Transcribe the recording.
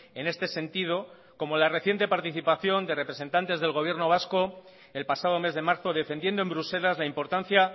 en este sentido como la reciente participación de representantes del gobierno vasco el pasado mes de marzo defendiendo en bruselas la importancia